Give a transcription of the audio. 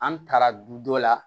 An taara du dɔ la